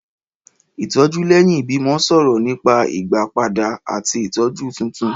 Ìtọ́jú lẹ́yìn ìbímọ sọ̀rọ̀ nípa ìgbàpadà àti ìtọ́jú tuntun.